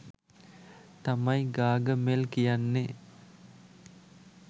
තමයි ගාගමෙල් කියන්නේ.